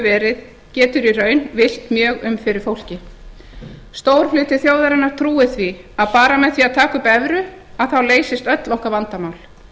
verið getur í raun villt mjög um fyrir fólki stór hluti þjóðarinnar trúir því að bara með því að taka upp evru leysist öll okkar vandamál